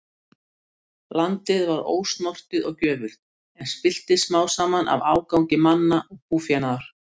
Landið var ósnortið og gjöfult, en spilltist smám saman af ágangi manna og búfénaðar.